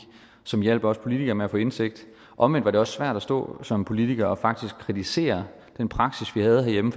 som hjalp os politikere med at få indsigt omvendt er det også svært at stå som politikere og faktisk kritisere den praksis vi havde herhjemme